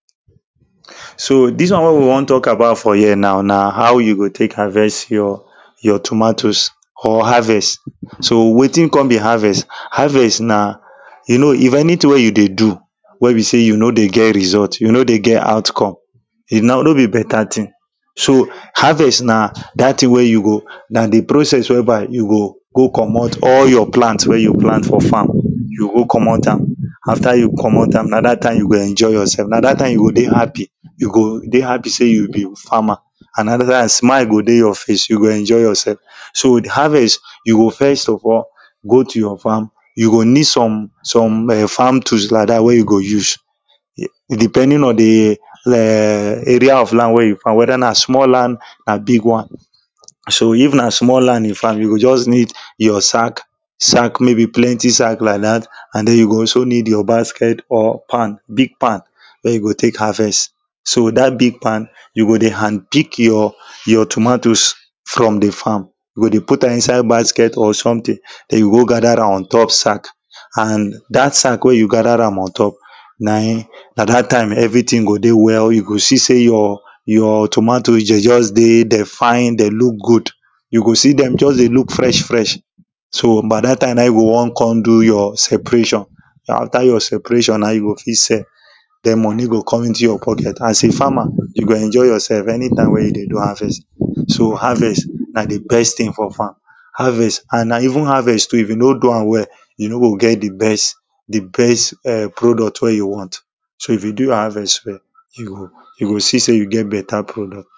So this one wey we wan talk about for here now na how you go take harvest your tomatoes or harvest so wetin come be harvest; harvest na you know if anything wey you dey do wey be say you no dey get result you no dey get outcome if na no be better thing so harvest na that thing wey you go na the process where by you go go comot all your plant wey you plant for farm you go go comot am after you comot am na that time you go enjoy yoursef na that time you go happy you go dey happy day you be farmer and smile go dey your face you go dey enjoy yourself so harvest you go first of all go to your farm you go need some some farm tools like that wey you go use depending on the area of land wey you farm whether na small land or na big one So if na small land you farm you go just need your sack bag sack maybe plenty sack like that and then you go also need your basket or pan big pan wey you go take harvest. So that big pan you go dey hand pick your your tomatoes from the farm you go dey put am inside basket or something then you go gather am on top sack and that sack wey you gather am on top na him na that time everything go dey well you go see say your tomatoes dem just dey dem fine dem look good go see dem just dey look fresh freshna that time na him you go wan come do your separation na him you go feel sell the money go come into your pocket. As a farmer you go enjoy yourself anytime wey you dey do harvest so harvest na the best thing for farm Harvest and na even harvest too if you no do am well you no go get the best eh product wey you want so if you do your harvest well you go you go see say you get better pro